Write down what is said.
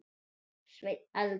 Sveinn Eldon.